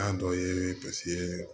An dɔ ye paseke